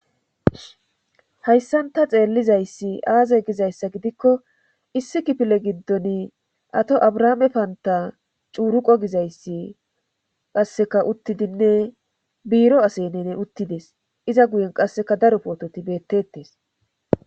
hayssan ta xeellizayssi aaze gizayssa gidikko issi kifile giddoni ato abrahaame panta cuuruqo gizayssi qasseka uttidinne biiro asenene uttides iza guyen qasseka daro poototi beettettes